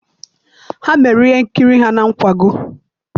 Ha mere ihe nkiri ha na nkwago